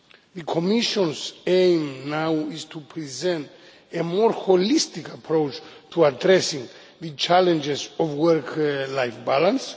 The Commission's aim now is to present a more holistic approach to addressing the challenges of work life balance.